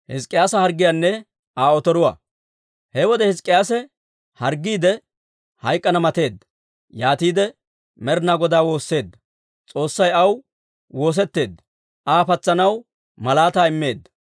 He wode Hizk'k'iyaase harggiide, hayk'k'ana mateedda; yaatiide Med'inaa Godaa woosseedda. S'oossay aw woosetteedda; Aa patsanaw malaataa immeedda.